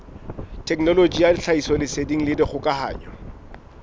thekenoloji ya tlhahisoleseding le dikgokahano